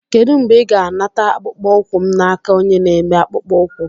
Kedu mgbe ị ga-anata akpụkpọ ụkwụ m n'aka onye na-eme akpụkpọ ụkwụ?